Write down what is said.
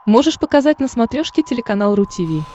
можешь показать на смотрешке телеканал ру ти ви